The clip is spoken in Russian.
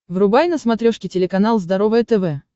врубай на смотрешке телеканал здоровое тв